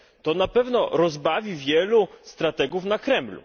To na pewno rozbawi wielu strategów na Kremlu.